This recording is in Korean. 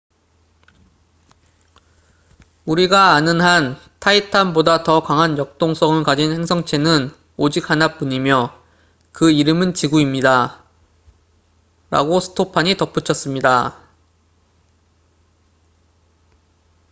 "우리가 아는 한 타이탄titan보다 더 강한 역동성을 가진 행성체는 오직 하나뿐이며 그 이름은 지구입니다""라고 스토판stofan이 덧붙였습니다.